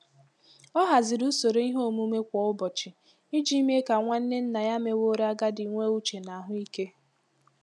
Ọ haziri usoro ihe omume kwa ụbọchị iji mee ka nwanne nna ya meworo agadi nwee uche na ahụ ike.